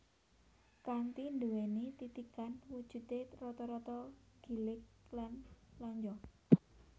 Kanthi nduwéni titikan wujudé rata rata gilig lan lonjong